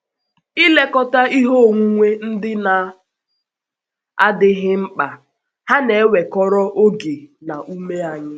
Ilekọta ihe onwunwe ndị na - adịghị mkpa hà na - ewekọrọ oge na ume anyị?